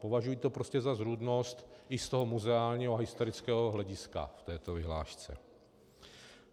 Považuji to prostě za zrůdnost i z toho muzeálního a historického hlediska v této vyhlášce.